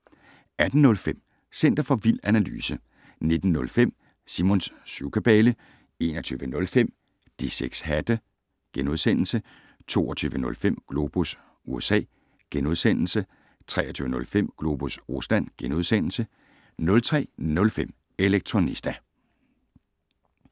18:05: Center for Vild Analyse 19:05: Simons syvkabale 21:05: De 6 hatte * 22:05: Globus USA * 23:05: Globus Rusland * 03:05: Elektronista